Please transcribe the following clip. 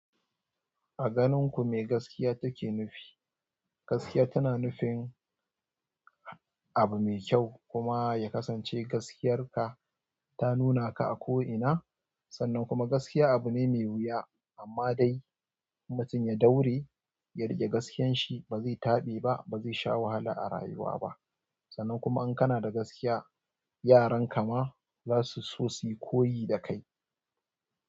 A ganin ku me gaskiya take nufi? Gaskiya tana nufin abu mai kyau kuma ya kasance gaskiyar ka ta nuna ka a ko'ina. Sannan kuma gaskiya abu ne mai wuya amma dai mutum ya daure ya riƙe gaskiyar shi ba zai taɓe ba, ba zai sha wahala a rayuwa ba. Sannan kuma in kana da gaskiya, yaran ka ma za su so su yi koyi da kai.